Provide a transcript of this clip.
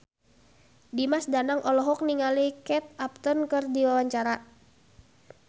Dimas Danang olohok ningali Kate Upton keur diwawancara